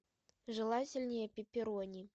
желательнее пепперони